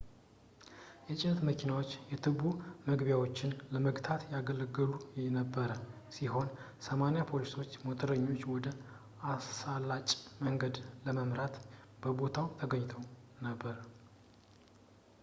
የጭነት መኪናዎች የቱቦ መግቢያዎች ን ለመግታት ያገለግሉ የነበረ ሲሆን 80 ፖሊሶች ሞተረኞችን ወደ አሳላጭ መንገድ ለመምራት በቦታው ተገኝተው ነበር